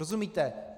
Rozumíte?